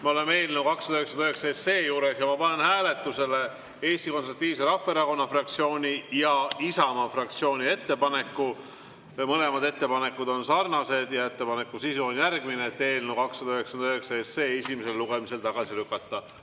Me oleme eelnõu 299 juures ja ma panen hääletusele Eesti Konservatiivse Rahvaerakonna fraktsiooni ja Isamaa fraktsiooni ettepaneku – mõlemad ettepanekud on sarnased – eelnõu 299 esimesel lugemisel tagasi lükata.